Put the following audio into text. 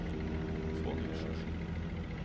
Svanhild Sjursen